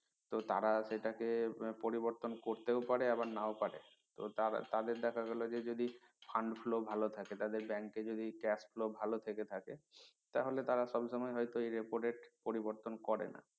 তো তারা সেটাকে পরিবর্তন করতে ও পারে আবার নাও পারে তো তারা তাদের দেখা গেলো যে যদি fund flow ভালো থাকে তাদের bank এ যদি cash flow ভালো থেকে থাকে তাহলে তারা সবসময় হয়তো এই repo rate পরিবর্তন করে না